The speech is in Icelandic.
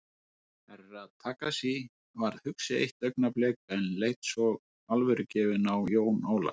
Herra Takashi varð hugsi eitt augnablik en leit svo alvörugefinn á Jón Ólaf.